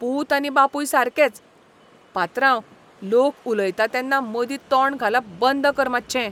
पूत आनी बापूय सारकेच. पात्रांव, लोक उलयता तेन्ना मदीं तोंड घालप बंद कर मात्शें.